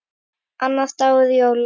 Annar dagur jóla.